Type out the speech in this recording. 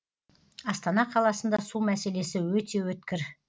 астана қаласында су мәселесі өте өткір